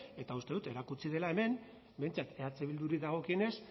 eta uste dut erakutsi dela hemen behintzat eh bilduri dagokionez